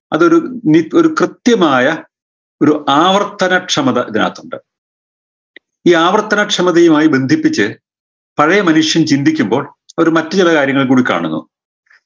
അതൊരു നി കൃത്യമായ ഒരു ആവർത്തനക്ഷമത ഇതിനകത്തുണ്ട് ഈ ആവർത്തനക്ഷമതയുമായ് ബന്ധിപ്പിച്ച് പഴേ മനുഷ്യൻ ചിന്തിക്കുമ്പോൾ അവര് മറ്റു ചില കാര്യങ്ങൾ കൂടെ കാണുന്നു